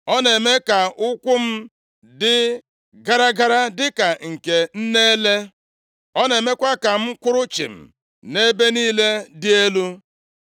Ọ na-eme ka ụkwụ m dị gara gara, dịka nke nne ele Ọ na-emekwa ka m kwụrụ chịm nʼebe niile dị elu.